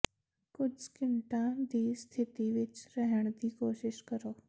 ਕੁਝ ਸਕਿੰਟਾਂ ਦੀ ਸਥਿਤੀ ਵਿੱਚ ਰਹਿਣ ਦੀ ਕੋਸ਼ਿਸ਼ ਕਰੋ